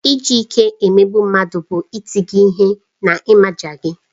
Iji ike emegbu mmadụ bụ ịti gị ihe na ịmaja gị.